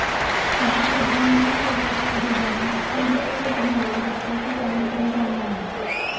सहा पदरी महामार्गाचा डिझाईन स्पीड लक्षात घेऊन रस्त्याचे काम सुरू झाले आहे